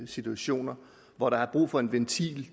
situationer hvor der er brug for en ventil